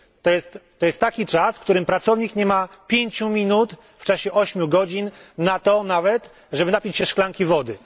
To jest taki czas, w którym pracownik nie ma 5 minut w czasie 8 godzin na to nawet, żeby napić się szklanki wody.